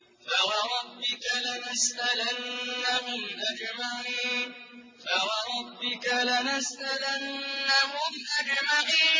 فَوَرَبِّكَ لَنَسْأَلَنَّهُمْ أَجْمَعِينَ